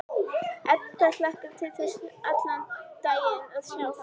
Edda hlakkar til þess allan daginn að sjá hann.